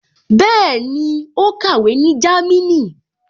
Bẹ́ẹ̀ni, ó kàwé ní Jámínì